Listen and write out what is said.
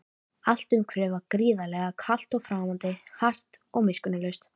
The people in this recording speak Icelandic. Allt umhverfið var gríðarlega kalt og framandi, hart og miskunnarlaust.